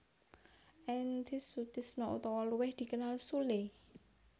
Entis Sutisna utawa luwih dikenal Sule